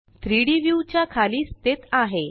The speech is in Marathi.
3डी व्यू च्या खाली स्थित आहे